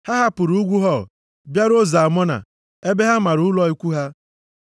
Ha hapụrụ ugwu Hor bịaruo Zalmona ebe ha mara ụlọ ikwu ha.